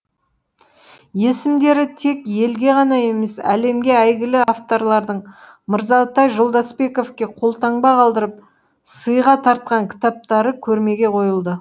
есімдері тек елге ғана емес әлемге әйгілі авторлардың мырзатай жолдасбековке қолтаңба қалдырып сыйға тартқан кітаптары көрмеге қойылды